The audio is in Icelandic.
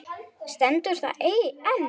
Stendur það enn?